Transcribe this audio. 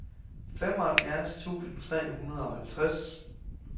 femoghalvfjerds tusind tre hundrede og halvtreds